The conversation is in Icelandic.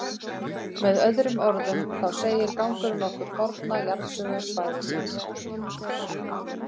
Með öðrum orðum, þá segir gangurinn okkur forna jarðsögu svæðisins.